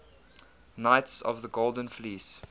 knights of the golden fleece